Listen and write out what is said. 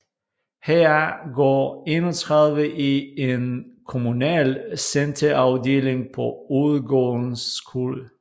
Heraf går 31 i en kommunal centerafdeling på Overgårdens Skole